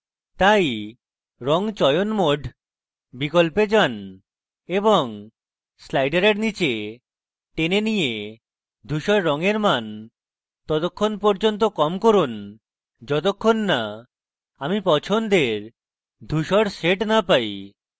তাই রঙ চয়ন mode বিকল্পে যান এবং slider নীচে টেনে নিয়ে ধুসর রঙের মান ততক্ষণ পর্যন্ত কম করুন যতক্ষণ so আমি পছন্দের ধুসর shade so পাই